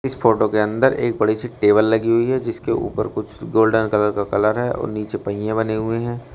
इस फोटो के अंदर एक बड़ी सी टेबल लगी हुई है जिसके ऊपर कुछ गोल्डन कलर का कलर है और नीचे पहिए बने हुए हैं।